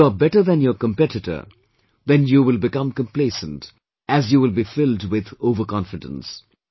If you are better than your competitor, then you will become complacent, as you will be filled with overconfidence